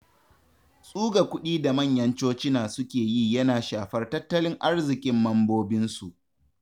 Tsuga kuɗi da manyan cocina suke yi yana shafar tattalin arzikin mambobinsu.